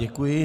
Děkuji.